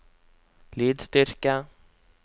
lydstyrke